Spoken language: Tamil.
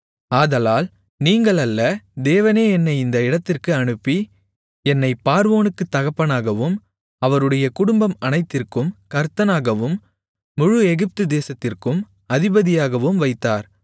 ஆதலால் நீங்கள் அல்ல தேவனே என்னை இந்த இடத்திற்கு அனுப்பி என்னைப் பார்வோனுக்குத் தகப்பனாகவும் அவருடைய குடும்பம் அனைத்திற்கும் கர்த்தனாகவும் முழு எகிப்துதேசத்திற்கும் அதிபதியாகவும் வைத்தார்